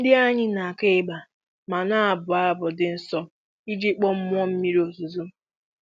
Ndị anyị na-akụ igba ma na-abụ abụ dị nsọ iji kpọọ mmụọ mmiri ozuzo.